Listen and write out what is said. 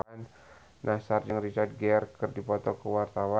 Nassar jeung Richard Gere keur dipoto ku wartawan